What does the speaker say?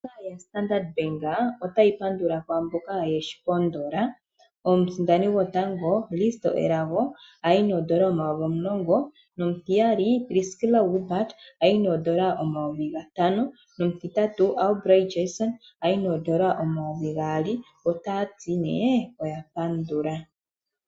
Ombaanga yoStandard bank otayi pandula kwaamboka yeshi pondola. Omusindani gwotango Risto Elago ayi noondola omayovi omulongo. No mutiyali Priskila Wilbard ayi noondola omayovi gatano. No mutitatu Aubrey Jason ayi noondola omayovi gaali. Ota yati nee oya pandula.